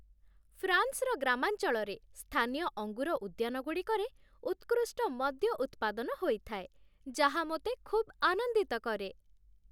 ଫ୍ରାନ୍ସର ଗ୍ରାମାଞ୍ଚଳରେ ସ୍ଥାନୀୟ ଅଙ୍ଗୁର ଉଦ୍ୟାନଗୁଡ଼ିକରେ ଉତ୍କୃଷ୍ଟ ମଦ୍ୟ ଉତ୍ପାଦନ ହୋଇଥାଏ, ଯାହା ମୋତେ ଖୁବ୍ ଆନନ୍ଦିତ କରେ ।